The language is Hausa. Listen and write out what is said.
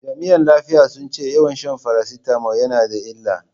Jami'an lafiya sun ce yawan shan farasitamol yana da illa.